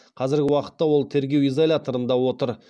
қазіргі уақытта ол тергеу изоляторында отыр